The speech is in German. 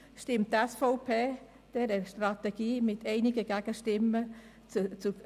Die SVP stimmt dieser mit einigen Gegenstimmen zu.